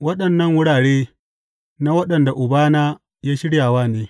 Waɗannan wurare na waɗanda Ubana ya shirya wa ne.